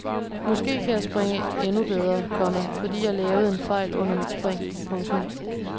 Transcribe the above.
Måske kan jeg springe endnu bedre, komma fordi jeg lavede en fejl under mit spring. punktum